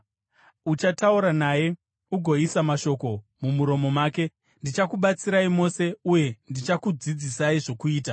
Uchataura naye ugoisa mashoko mumuromo make; ndichakubatsirai mose uye ndichakudzidzisai zvokuita.